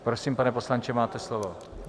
Prosím, pane poslanče, máte slovo.